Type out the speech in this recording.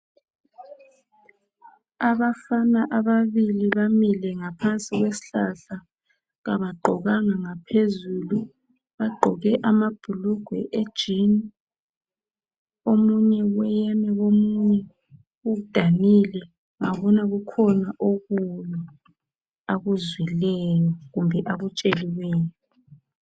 Abafana ababili bamile ngaphansi kwesihlahla kabagqokanga ngaphezulu bagqoke amabhulugwe e"jean" omunye weyeme komunye udanile ngabona kukhona okubi akuzwileyo kumbe akutsheliweyo.